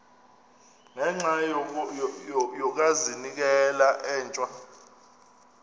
ngenxa yokazinikela etywa